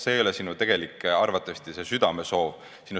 See ei ole arvatavasti sinu tegelik südamesoov.